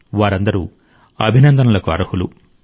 వారందరూ అభినందనలకు అర్హులు